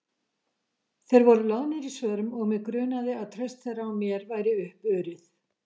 Þeir voru loðnir í svörum og mig grunaði að traust þeirra á mér væri uppurið.